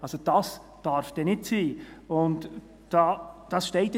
Also: Dies darf dann nicht sein.